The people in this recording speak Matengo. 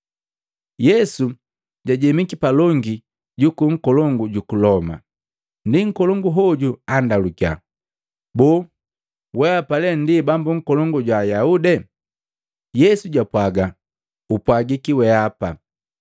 Yesu jajemiki palongi juku nkolongu ju Loma. Ndi Nkolongu hoju anndalukia, “Boo, weapa lee ndi Bambu Nkolongu jwa Ayaude?” Yesu japwaga, “Upwagiki weapa.”